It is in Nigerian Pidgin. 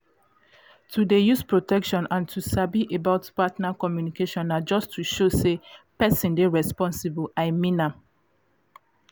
to dey use protection and to sabi about partner communication na just to show say person dey responsible i mean am.